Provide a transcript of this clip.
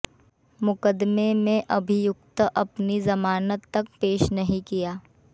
मुकदमे में अभियुक्त अपनी जमानत तक पेश नहीं किया